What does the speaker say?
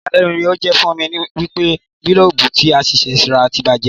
Ìyàlẹ́nu ni ó jé fún mi wípé gílóòbù tí a ṣẹ̀ṣẹ̀ rà ti bàjé